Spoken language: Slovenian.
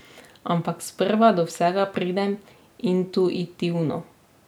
Ampak sprva do vsega pridem intuitivno.